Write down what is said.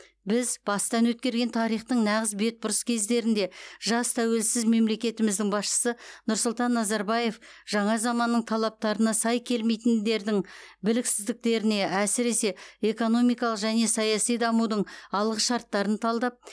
біз бастан өткерген тарихтың нағыз бетбұрыс кездерінде жас тәуелсіз мемлекетіміздің басшысы нұрсұлтан назарбаев жаңа заманның талаптарына сай келмейтіндердің біліксіздіктеріне әсіресе экономикалық және саяси дамудың алғышарттарын талдап